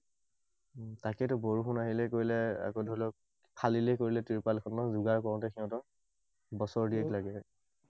তাকেতো, বৰষুণ আহিলে কৰিলে, আকৌ ধৰি লওক, ফালিলে কৰিলে তিৰপালখনো যোগাৰ কৰোতে সিহঁতৰ বছৰ দিন লাগি যায়।